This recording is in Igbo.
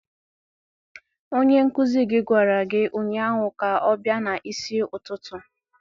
Onye nkuzi gị gwara gị ụnyaahụ ka ọ bịa n'isi ụtụtụ!